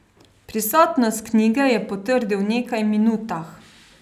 Pristnost knjige je potrdil v nekaj minutah.